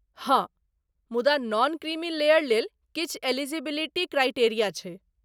हँ! मुदा non creamy layer लेल किछु इलिजिबिलिटी क्राइटेरिया छै।